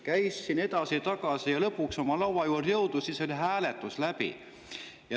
Käis siin edasi-tagasi ja kui ta lõpuks oli oma laua juurde jõudnud, siis oli hääletus läbi.